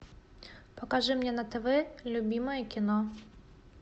покажи мне на тв любимое кино